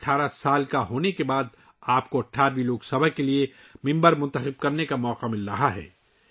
18 سال کے ہونے کے بعد، آپ کو 18ویں لوک سبھا کے لیے رکن منتخب کرنے کا موقع مل رہا ہے